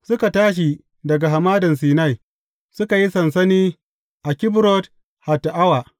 Suka tashi daga Hamadan Sinai, suka yi sansani a Kibrot Hatta’awa.